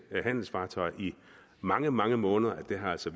handelsfartøjer i mange mange måneder at det altså